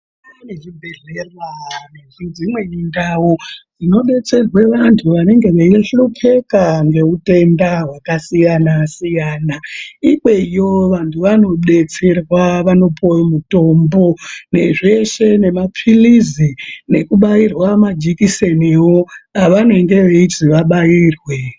Pane chibhedhlera nedzimweni ndau, dzinodetserwe vantu vanenge veishupheka ngeutenda hwakasiyana -siyana. Ikweyo vantu vanobetserwa, vanopuwe mutombo, nezveshe nemaphilizi ,nekubairwa majikiseniwo, avanenge veizi vabairwe.